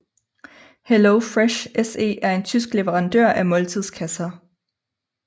HelloFresh SE er en tysk leverandør af måltidskasser